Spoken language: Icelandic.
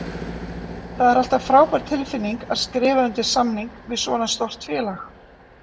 Það er alltaf frábær tilfinning að skrifa undir samning við svona stórt félag.